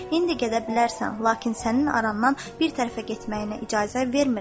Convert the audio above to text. İndi gedə bilərsən, lakin sənin arandan bir tərəfə getməyinə icazə vermirəm.